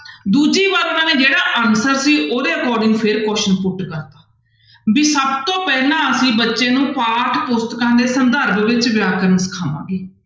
ਦੂਜੀ ਵਾਰ ਉਹਨਾਂ ਨੇ ਜਿਹੜਾ answer ਸੀ ਉਹਦੇ according ਫਿਰ question put ਕਰ ਦਿੱਤਾ ਵੀ ਸਭ ਤੋਂ ਪਹਿਲਾਂ ਅਸੀਂ ਬੱਚੇ ਨੂੰ ਪਾਠ ਪੁਸਤਕਾਂ ਦੇ ਸੰਦਰਭ ਵਿੱਚ ਵਿਆਕਰਨ ਸਿਖਾਵਾਂਗੇ।